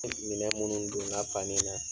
Minɛn munnu donna fani na